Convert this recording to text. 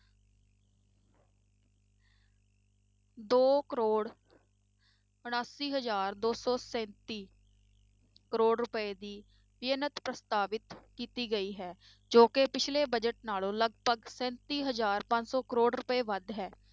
ਦੋ ਕਰੌੜ ਉਣਾਸੀ ਹਜ਼ਾਰ ਦੋ ਸੌ ਸੈਂਤੀ ਕਰੌੜ ਰੁਪਏ ਦੀ ਪ੍ਰਸਤਾਵਤ ਕੀਤੀ ਗਈ ਹੈ, ਜੋ ਕਿ ਪਿੱਛਲੇ budget ਨਾਲੋਂ ਲਗਪਗ ਸੈਂਤੀ ਹਜ਼ਾਰ ਪੰਜ ਸੌ ਕਰੌੜ ਰੁਪਏ ਵੱਧ ਹੈ